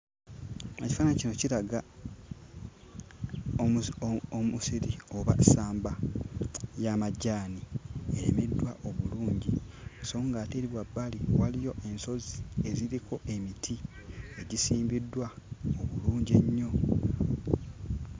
Ekifaananyi kino kiraga omusi omusiri oba essamba ly'amajaani erimiddwa obulungi. So ng'ate eri wabbali waliyo ensozi eziriko emiti egisimbiddwa obulungi ennyo.